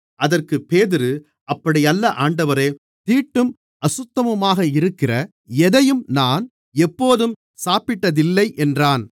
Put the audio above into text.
அதற்குப் பேதுரு அப்படியல்ல ஆண்டவரே தீட்டும் அசுத்தமுமாக இருக்கிற எதையும் நான் எப்போதும் சாப்பிட்டதில்லை என்றான்